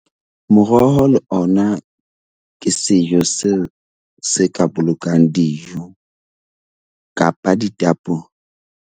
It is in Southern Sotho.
Moroho le ona ke sejo se ka bolokang dijo kapa ditapole.